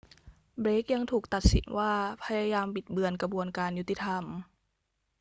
เบลกยังถูกตัดสินว่าพยายามบิดเบือนกระบวนการยุติธรรม